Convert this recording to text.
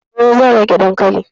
E, zan rage dankalin.